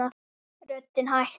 Röddin hækkar.